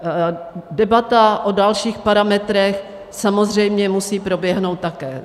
Debata o dalších parametrech samozřejmě musí proběhnout také.